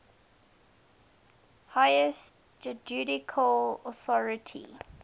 highest judicial authority